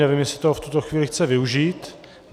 Nevím, jestli to v tuto chvíli chce využít.